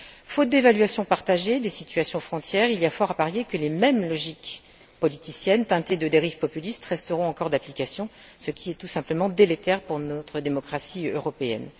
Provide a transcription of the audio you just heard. Faute d'évaluation partagée des situations aux frontières, il y a fort à parier que les mêmes logiques politiciennes teintées de dérives populistes, resteront encore d'application, ce qui est tout simplement délétère pour notre démocratie européenne.